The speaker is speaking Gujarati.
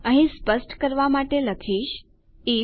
અહીં સ્પષ્ટ કરવા માટે લખીશ આઇએફ